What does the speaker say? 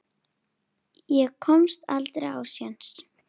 Ég komst aldrei á séns.